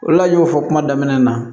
Ola n y'o fɔ kuma daminɛ na